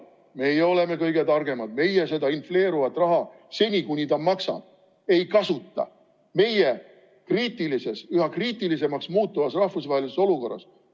Meie oleme kõige targemad, meie seda infleeruvat raha, seni kuni see maksab, meie kriitilises ja üha kriitilisemaks muutuvas rahvusvahelises olukorras ei kasuta.